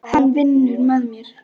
Hann vinnur með mér.